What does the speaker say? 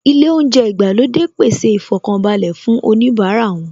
Ilé oúnjẹ ìgbàlódé pèsè ìfọkànbalẹ̀ fún oníbara wọn